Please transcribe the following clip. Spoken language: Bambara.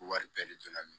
Wari bɛɛ de don na minɛ